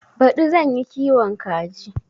Baɗi zan yi kiwon kaji.